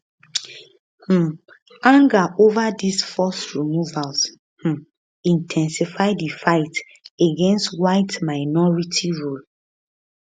um anger ova these forced removals um in ten sify di fight against whiteminority rule